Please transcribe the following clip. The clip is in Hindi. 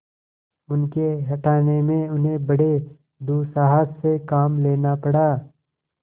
उनके हटाने में उन्हें बड़े दुस्साहस से काम लेना पड़ा